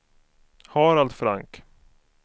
Harald Frank